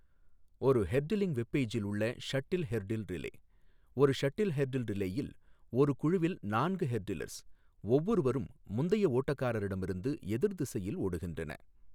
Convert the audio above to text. ஒரு hurdling web பெய்ஜில் உள்ள ஷட்டில் ஹெர்டில் ரிலே, ஒரு ஷட்டில் ஹெர்டில் ரிலேயில், ஒரு குழுவில் நான்கு ஹெர்டிலர்ஸ் ஒவ்வொருவரும் முந்தைய ஓட்டக்காரரிடமிருந்து எதிர் திசையில் ஓடுகின்றன.